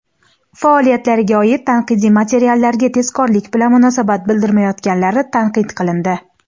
faoliyatlariga oid tanqidiy materiallarga tezkorlik bilan munosabat bildirmayotganlari tanqid qilindi.